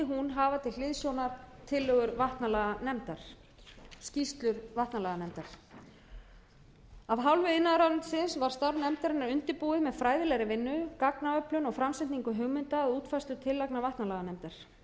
hún hafa til hliðsjónar tillögur vatnalaganefndar skýrslu vatnalaganefndar af hálfu iðnaðarráðuneytis var starf nefndarinnar undirbúið með fræðilegri vinnu gagnaöflun og framsetningu hugmynda að útfærslu tillagna vatnalaganefndar